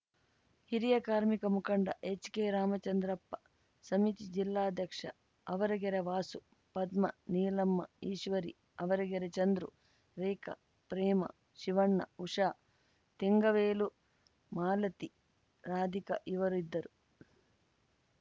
ಹಿರಿಯ ಕಾರ್ಮಿಕ ಮುಖಂಡ ಎಚ್‌ಕೆರಾಮಚಂದ್ರಪ್ಪ ಸಮಿತಿ ಜಿಲ್ಲಾಧ್ಯಕ್ಷ ಆವರಗೆರೆ ವಾಸು ಪದ್ಮಾ ನೀಲಮ್ಮ ಈಶ್ವರಿ ಆವರಗೆರೆ ಚಂದ್ರು ರೇಖಾ ಪ್ರೇಮಾ ಶಿವಣ್ಣ ಉಷಾ ತೆಂಗವೇಲು ಮಾಲತಿ ರಾಧಿಕಾ ಇತರರು ಇದ್ದರು